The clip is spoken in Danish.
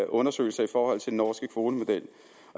undersøgelser i forhold til den norske kvotemodel